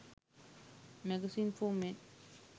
magazines for men